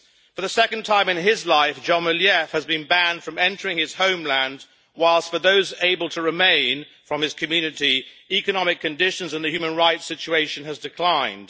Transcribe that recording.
For the second time in his life Dzhemiliev has been banned from entering his homeland, whilst for those able to remain from his community, economic conditions and the human rights situation have declined.